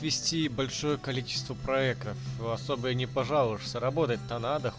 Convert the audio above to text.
вести большое количество проектов в особо и не пожалуйста работать надо